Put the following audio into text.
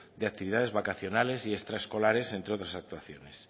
de actividades vacacionales y extraescolares entre otras actuaciones